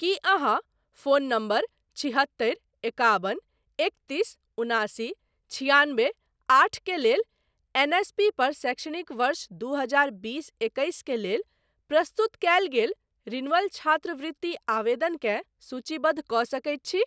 की अहाँ phone number छिहत्तरि एकाबन एकतीस उनासी छिआनबे आठ के लेल एनएसपी पर शैक्षणिक वर्ष दू हजार बीस एकैस के लेल प्रस्तुत कयल गेल रिन्यूअल छात्रवृति आवेदनकेँ सूचीबद्ध कऽ सकैत छी ?